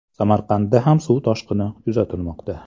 Samarqandda ham suv toshqini kuzatilmoqda .